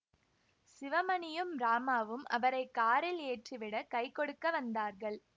சிவமணியும் ராமாவும் அவரை காரில் ஏற்றிவிட கை கொடுக்க வந்தார்கள்